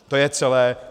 To je celé.